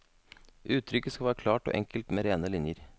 Uttrykket skal være klart og enkelt, med rene linjer.